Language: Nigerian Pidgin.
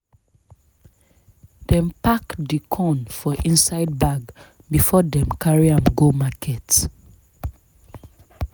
dem pack di corn for inside bag before dem carry am go market.